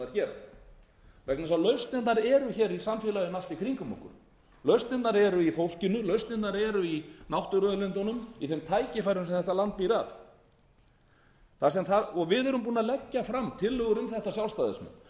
eru í samfélaginu allt í kringum okkur lausnirnar eru í fólkinu lausnirnar eru í náttúruauðlindunum í þeim tækifærum sem þetta land býr að við erum búnir að leggja fram tillögur um